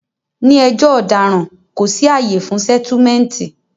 Ní ẹjọ́ ọ̀daràn, kò sí àyè fún sẹ́túmẹ̀ǹtì